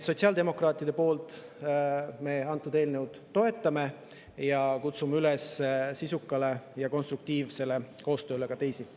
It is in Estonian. Sotsiaaldemokraadid antud eelnõu toetavad ja me kutsume sisukale ja konstruktiivsele koostööle üles ka teisi.